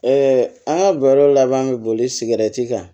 an ka baro laban mi boli siri kan